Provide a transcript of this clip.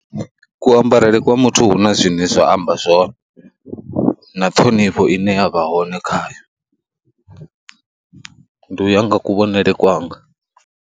Kuambarele kwa muthu hu na zwine zwa amba zwone, na ṱhonifho ine ya vha hone khayo, u ndi u ya nga kuvhonele wanga.